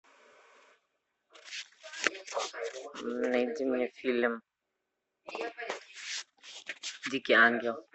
найди мне фильм дикий ангел